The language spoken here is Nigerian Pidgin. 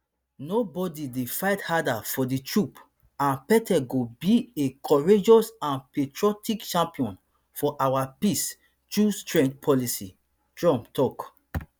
nobody dey fight harder for di troops and pete go be a courageous and patriotic champion of our peace through strength policy trump tok